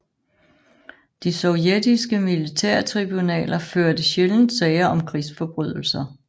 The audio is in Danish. De sovjetiske militærtribunaler førte sjældent sager om krigsforbrydelser